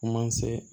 Kuma se